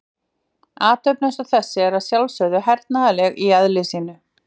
Athöfn eins og þessi er að sjálfsögðu hernaðarleg í eðli sínu.